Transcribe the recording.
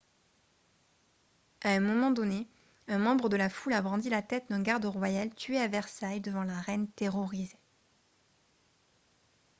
à un moment donné un membre de la foule a brandi la tête d'un garde royal tué à versailles devant la reine terrorisée